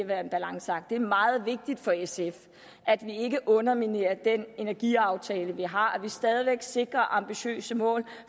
være en balanceakt det er meget vigtigt for sf at vi ikke underminerer den energiaftale vi har at vi stadig væk sikrer ambitiøse mål at